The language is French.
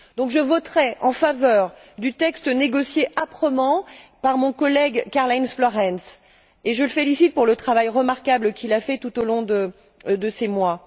Je voterai donc en faveur du texte négocié âprement par mon collègue, Karl Heinz Florenz, et je le félicite pour le travail remarquable qu'il a accompli tout au long de ces mois.